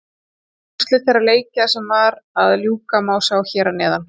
Úrslit þeirra leikja sem var að ljúka má sjá hér að neðan.